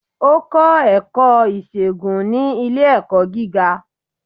O kọ ẹkọ isègún ni ile-ẹkọ giga